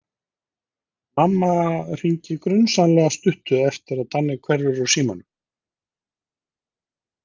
Mamma hringir grunsamlega stuttu eftir að Danni hverfur úr símanum.